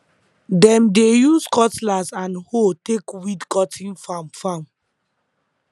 dem dey use cutlass and hoe take weed cotton farm farm